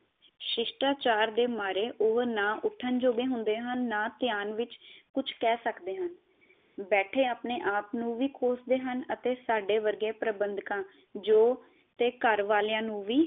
ਸਿਸ਼ਟਾਚਾਰ ਦੇ ਮਾਰੇ ਉਹ ਨਾ ਉਠਣ ਯੋਗੇ ਹੁੰਦੇ ਹਨ ਨਾ ਧਿਆਨ ਵਿਚ ਕੁਝ ਕਹ ਸਕਦੇ ਹਨ ਬੇਠੇ ਆਪਣੇ ਆਪ ਨੂ ਵ ਕੋਸਦੇ ਹਨ ਅਤੇ ਸਾਡੇ ਵਰਗੇ ਪ੍ਰਬੰਧਕਾ ਜੋ ਤੇ ਘਰ ਵਾਲੀਆਂ ਨੂੰ ਵੀ